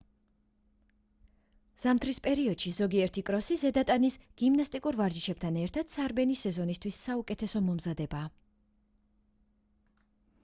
ზამთრის პერიოდში ზოგიერთი კროსი ზედა ტანის გიმნასტიკურ ვარჯიშებთან ერთად სარბენი სეზონისთვის საუკეთესო მომზადებაა